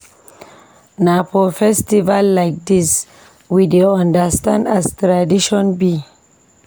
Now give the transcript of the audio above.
Na for festival like dis we dey understand as tradition be.